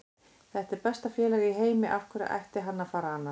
Þetta er besta félag í heimi, af hverju ætti hann að fara annað?